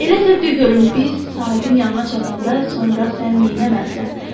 Elə isə de görüm, biz sahibin yanına çatanda, sonra sən neynəməlisən?